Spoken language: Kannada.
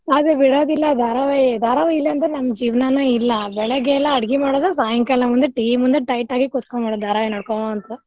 ಅದ್ ಬಿಡದಿಲ್ಲ ಧಾರಾವಾಹಿ ಧಾರಾವಾಹಿ ಇಲಂದ್ರ ನಮ್ ಜೀವ್ನಾನೆ ಇಲ್ಲ ಬೆಳಗ್ಗೆ ಎಲ್ಲಾ ಅಡ್ಗಿ ಮಾಡೋದು ಸಾಯಂಕಾಲ ಮುಂದೇ TV ಮುಂದೇ tight ಆಗಿ ಕೂತ್ ಕೊಂಡ್ಬಿಡೋದು ಧಾರಾವಾಹಿ ನೋಡ್ಕೊಂತ.